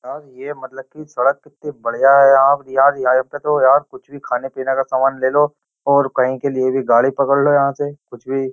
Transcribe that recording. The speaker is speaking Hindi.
यार ये मतलब कि सड़क कित्ती बढ़िया है आप यार यहाँ पे तो यार कुछ भी खाने पीने का सामान ले लो और कहीं के लिए भी गाड़ी पकड़ लो यहाँ से कुछ भी --